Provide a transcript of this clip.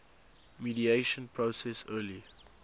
mediation process early